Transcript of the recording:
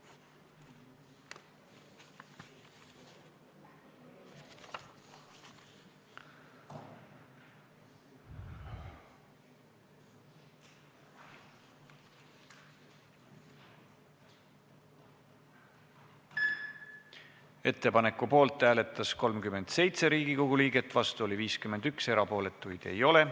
Hääletustulemused Ettepaneku poolt hääletas 37 Riigikogu liiget, vastu oli 51, erapooletuid ei ole.